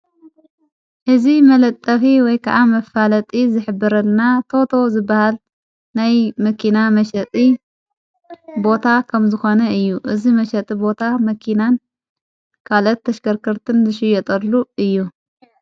እዝ መለጠፊ ወይ ከዓ መፋለጢ ዘኅብረና ቶቶ ዝበሃል ናይ መኪና መሸጢ ቦታ ኸም ዝኾነ እዩ እዝ መሸጢ ቦታ መኪናን ካለት ተሽከርክርትን ዘሽ የጠሉ እዩ።